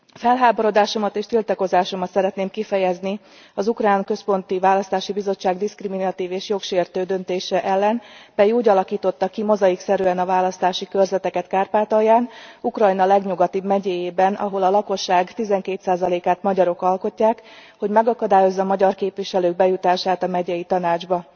Felháborodásomat és tiltakozásomat szeretném kifejezni az ukrán központi választási bizottság diszkriminatív és jogsértő döntése ellen, mely úgy alakította ki mozaikszerűen a választási körzeteket Kárpátalján, Ukrajna legnyugatibb megyéjében, ahol a lakosság 12 át magyarok alkotják, hogy megakadályozza magyar képviselők bejutását a megyei tanácsba.